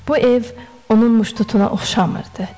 Bu ev onun muştutuna oxşamırdı.